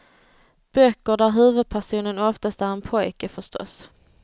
Böcker där huvudpersonen oftast är en pojke, förstås.